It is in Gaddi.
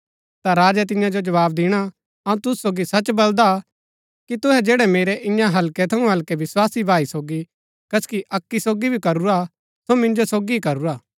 ता राजै तियां जो जवाव दिणा अऊँ तुसु सोगी सच बलदा कि तुहै जैड़ै मेरै ईयां हल्कै थऊँ हल्कै विस्वासी भाई सोगी कसकि अक्की सोगी भी करूरा हा सो मिन्जो सोगी ही करूरा